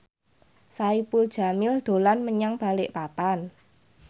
Saipul Jamil dolan menyang Balikpapan